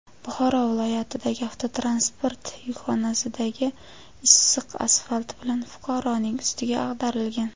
Buxoro viloyatidagi avtotransport yukxonasidagi issiq asfalt bilan fuqaroning ustiga ag‘darilgan.